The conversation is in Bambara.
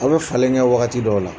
Aw bɛ falen kɛ wagati dɔw la